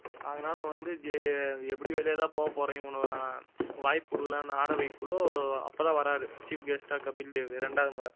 அதனால வந்து எப்படியும் வெளிய தான் போகப்போறீங்க இவனுங்க வாய்ப்பு குடுக்கலாம்னு ஆட வைக்க அப்பதான் வர்றாரு chief guest ஆ கபில் தேவ் ரெண்டாவது முறை